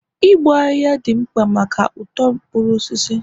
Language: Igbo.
igbo ahihia dị mkpa maka uto mkpuru osisi